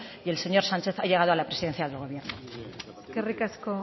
y el señor sánchez ha llegado a la presidencia del gobierno eskerrik asko